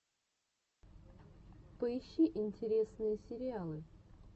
поищи интересные сериалы